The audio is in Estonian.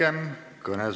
Head päeva teile kõigile!